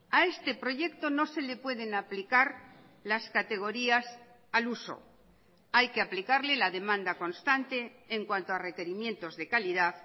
a este proyecto no se le pueden aplicar las categorías al uso hay que aplicarle la demanda constante en cuanto a requerimientos de calidad